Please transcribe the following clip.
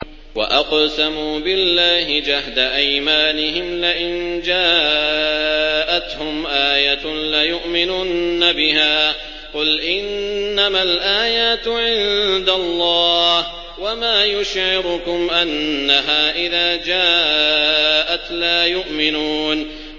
وَأَقْسَمُوا بِاللَّهِ جَهْدَ أَيْمَانِهِمْ لَئِن جَاءَتْهُمْ آيَةٌ لَّيُؤْمِنُنَّ بِهَا ۚ قُلْ إِنَّمَا الْآيَاتُ عِندَ اللَّهِ ۖ وَمَا يُشْعِرُكُمْ أَنَّهَا إِذَا جَاءَتْ لَا يُؤْمِنُونَ